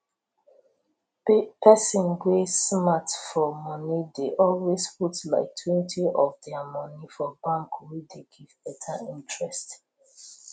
person wey smart for moni dey always put liketwentyof dia moni for bank wey dey give beta interest